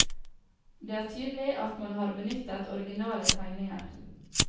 Det er tydelig at man har benyttet originale tegninger.